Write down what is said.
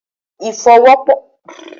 Ìfọwọ́sowọ́pọ̀ ma ń jẹ́ kí a lè ṣe ohun tí a fojú sùn.